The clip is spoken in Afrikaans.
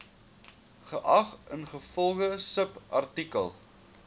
geag ingevolge subartikel